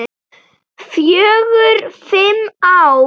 Fjögur, fimm ár.